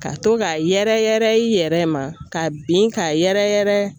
Ka to k'a yɛrɛ yɛrɛ i yɛrɛ ma ka bin k'a yɛrɛ yɛrɛ